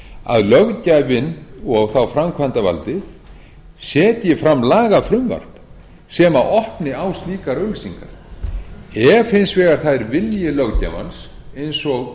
að löggjafinn og þá framkvæmdarvaldið setji fram lagafrumvarp sem opni á slíkar auglýsingar ef hins vegar það er vilji löggjafans eins og